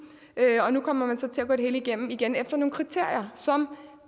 nu kommer man så til at gå det hele igennem igen efter nogle kriterier som